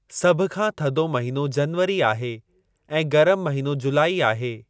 सभ खां थधो महीनो जनवरी आहे, ऐं गरमु महीनो जूलाइ आहे।